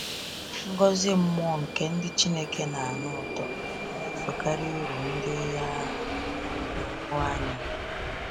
Ngọzi mmụọ nke ndị Chineke na-anụ ụtọ na-esokarị uru ndị a na-ahụ anya.